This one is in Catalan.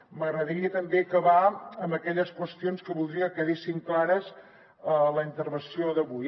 m’agradaria també acabar amb aquelles qüestions que voldria que quedessin clares a la intervenció d’avui